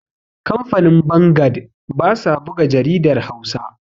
kamfanin bangad ba sa buga jaridar Hausa